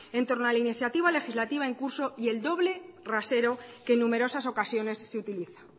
en torno a la iniciativa legislativa en curso y el doble rasero que en numerosas ocasiones se utiliza